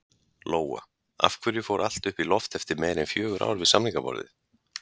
Lóa: Af hverju fór allt í loft upp eftir meira en fjögur ár við samningaborðið?